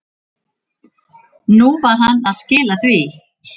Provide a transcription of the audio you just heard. Nú var hann að skila því.